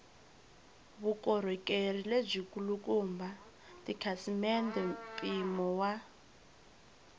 vukorhokeri lebyikulukumba tikhasimende mpimo wa